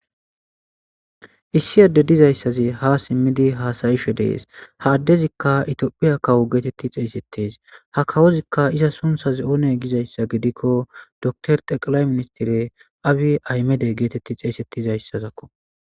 Issi adde dizayssazi haa simiidi haasa'ishe de'es;ha addezikka ethiophiya kawo geeteti xeeysetees;ha kawozikka izas sunththazi oonne gizayssa gidikko dokter xeqlay ministere abiy ahimede geeteti xeeysetizaysako.